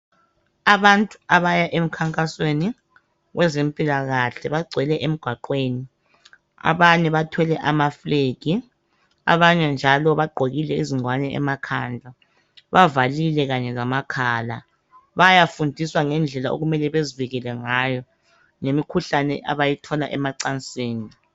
Abantu abaya emkhankasweni wezempilakahle. Bagcwele emgwaqweni abanye bathwele amafulegi, abanye njalo bagqokile izingwane emakhanda bavalile kanye lamakhala bayafundiswa ngendlela okumele bazivikele ngayo ngemikhuhlane abayithola emacansini.